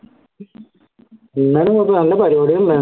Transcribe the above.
എന്നാലും കുഴപ്പല്ല നല്ല പരിപാടി